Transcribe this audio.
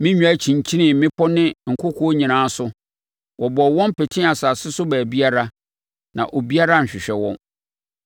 Me nnwan kyinkyini mmepɔ ne nkokoɔ nyinaa so. Wɔbɔɔ wɔn petee asase so baabiara, na obiara anhwehwɛ wɔn.